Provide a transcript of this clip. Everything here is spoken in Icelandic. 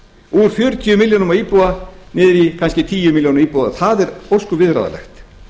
úr fjörutíu milljónum á íbúa niður í kannski tíu milljónir á íbúa og það er ósköp viðráðanlegt